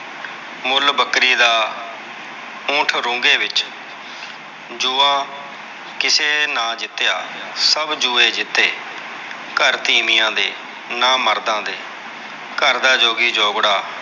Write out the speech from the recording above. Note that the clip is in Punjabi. ਮੁੱਲ ਬੱਕਰੀ ਦਾ, ਊਂਠ ਰੁੰਘੇ ਵਿੱਚ। ਜੂਆਂ ਕਿਸੇ ਨਾ ਜਿਤਿਆ, ਸਭ ਜੂਏ ਜਿਤੇ। ਘਰ ਤੀਵੀਆਂ ਦੇ, ਨਾਮਰਦਾ ਦੇ, ਘਰ ਦਾ ਜੋਗੀ ਜੋਗੜਾ।